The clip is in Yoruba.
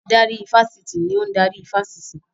Adarí ifásitì ni ò ń darí ifásitì